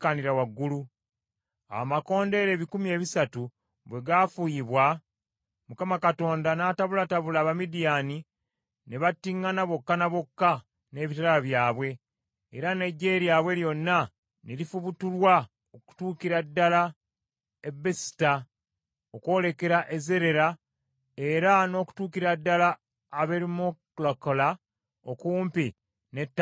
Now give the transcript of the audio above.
Awo amakondeere ebikumi ebisatu bwe gaafuuyibwa, Mukama Katonda n’atabulatabula Abamidiyaani ne battiŋŋana bokka na bokka n’ebitala byabwe era n’eggye lyabwe lyonna ne lifubutulwa okutuukira ddala e Besusitta okwolekera e Zerera, era n’okutuukira ddala Aberumekola okumpi ne Tabbasi.